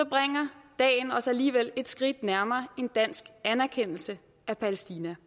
bringer dagen os alligevel et skridt nærmere en dansk anerkendelse af palæstina